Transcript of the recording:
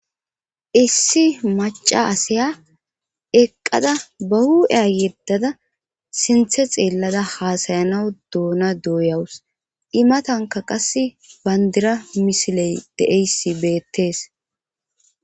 issi maca asaya eqqada ba hu7eya yeddada sinthe xeellada haasayanawu doona douyawus imatanka qas bandira misiley de7eyssi beettees